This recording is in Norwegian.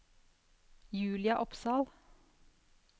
Julia Opsahl